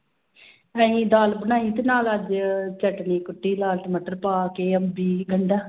ਅਸੀਂ ਦਾਲ ਬਣਾਈ ਤੇ ਨਾਲ ਅੱਜ ਚਟਣੀ ਕੁੱਟੀ ਲਾਲ ਟਮਾਟਰ ਪਾ ਕੇ ਅੰਬੀ, ਗੰਡਾ।